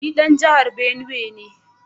Ni dan jihar Benue ne